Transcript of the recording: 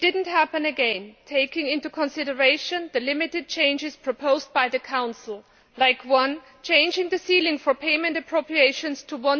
It did not happen again, taking into consideration the limited changes proposed by the Council, such as one, changing the ceiling for payment appropriations to